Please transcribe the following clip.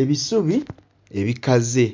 Ebisubi ebikaze.